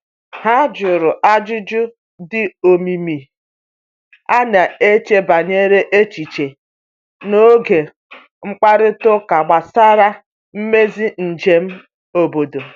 Ha jụrụ ajụjụ dị omimi a n'echebara echiche n’oge mkparịta ụka gbasara mmezi njem obodo.